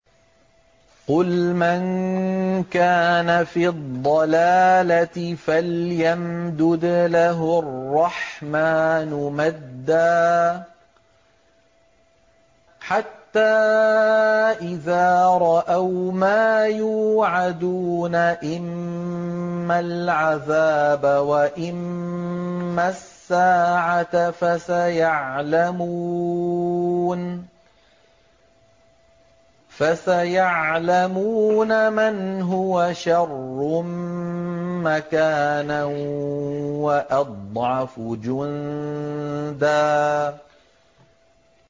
قُلْ مَن كَانَ فِي الضَّلَالَةِ فَلْيَمْدُدْ لَهُ الرَّحْمَٰنُ مَدًّا ۚ حَتَّىٰ إِذَا رَأَوْا مَا يُوعَدُونَ إِمَّا الْعَذَابَ وَإِمَّا السَّاعَةَ فَسَيَعْلَمُونَ مَنْ هُوَ شَرٌّ مَّكَانًا وَأَضْعَفُ جُندًا